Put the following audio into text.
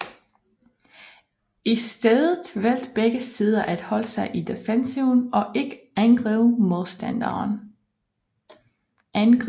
I stedet valgte begge sider at holde sig i defensiven og ikke angribe modstanderen